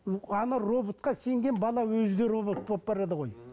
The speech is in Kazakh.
ы ана роботқа сенген бала өзі де робот болып барады ғой